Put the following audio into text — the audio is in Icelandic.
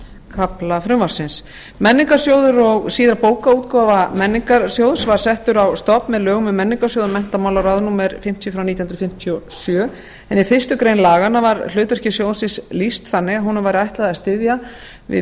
kafla frumvarpsins menningarsjóður og síðar bókaútgáfa menningarsjóðs var settur á stofn með lögum um menningarsjóð og menntamálaráð númer fimmtíu nítján hundruð fimmtíu og sjö en í fyrstu grein laganna var hlutverki sjóðsins lýst þannig að honum væri ætlað að styðja við